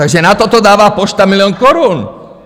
Takže na toto dává pošta milion korun.